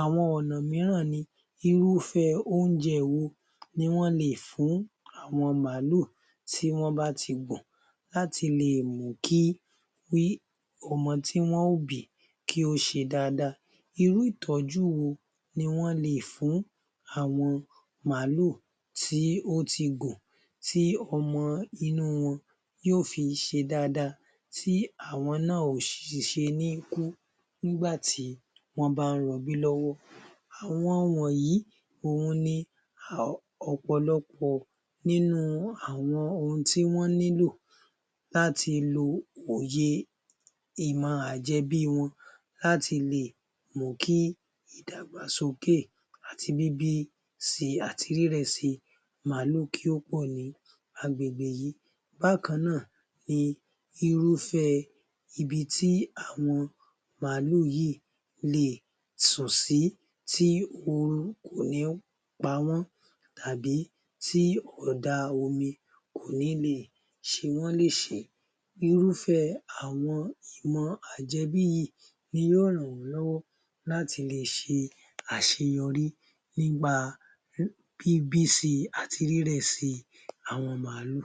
Àwọn ọ̀nà mìíràn ni irúfẹ́ oúnjẹ wo ni wọ́n leè fún àwọn Máàlù tí wọ́n bá ti gùn láti lè mú kí ọmọ tí wọ́n ó bìí kí wọ́n ṣe dáadáa. Irú ìtọ́jú wo ni wọ́n leè fún àwọn màálù tí ó ti gùn tí ọmọ inú wọn óò fi ṣe dáadáa tí àwọn ṣe níí kú nígbà tí wọ́n bá ń rọbí lọ́wọ́? Àwọn wọ̀nyí òhun ni ọ̀pọ̀lọpọ̀ nínú ohun tí wọ́n nílò láti lo òye ìmọ̀ àjẹbí wọn láti lè mú kí ìdàgbàsókè àti bíbí si àti rírẹ̀ si màálù kí ó pọ̀ ní àgbègbè yìí yìí bákan náà ni irúfẹ́ ibi tí àwọn màálù yìí lè sùn sí tí ọrùn kò ní pa wọ́n tàbí tí ọ̀dá omi kò ní ṣe wọ́n léṣe.. Irúfẹ́ àwọn ìmọ̀ àjẹbí yìí ni yóò ràn wọ́n lọ́wọ́ láti lè ṣe àṣeyọrí nípa bíbí si àti rírẹ̀ si àwọn màálù.